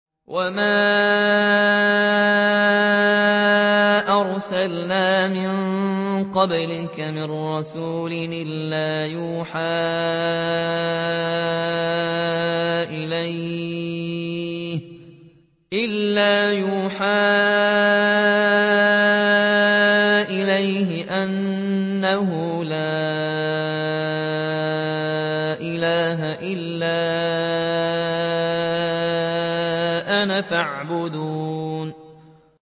وَمَا أَرْسَلْنَا مِن قَبْلِكَ مِن رَّسُولٍ إِلَّا نُوحِي إِلَيْهِ أَنَّهُ لَا إِلَٰهَ إِلَّا أَنَا فَاعْبُدُونِ